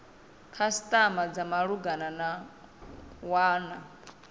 khasitama dza malugana na wana